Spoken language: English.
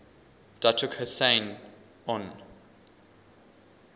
datuk hussein onn